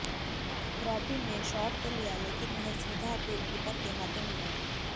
robin ने shot तो लिया लेकिन वह सीधा गोलकीपर के हाथों में गया